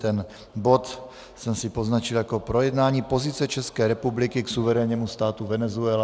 Ten bod jsem si poznačil jako projednání pozice České republiky k suverénnímu státu Venezuela.